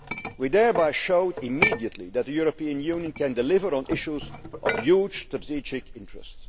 We thereby showed immediately that the European Union can deliver on issues of huge strategic interest.